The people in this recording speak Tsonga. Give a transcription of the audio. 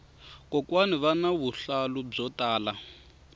kokwani vana vuhlalu byo tala